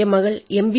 എന്റെ മകൾ എം